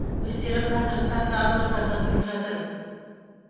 өздері қазіргі таңда атбасарда тұрып жатыр